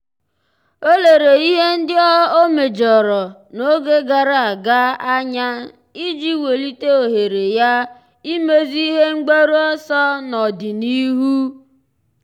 ọ́ lérè ihe ndị ọ́ méjọ̀rọ̀ n’ógè gàrà ága anya iji wèlíté ohere ya ímézu ihe mgbaru ọsọ n’ọ́dị̀nihu.